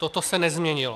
Toto se nezměnilo.